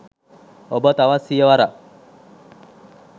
ඔබ තවත් සිය වරක්